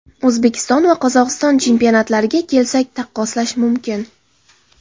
O‘zbekiston va Qozog‘iston chempionatlariga kelsak, taqqoslash mumkin.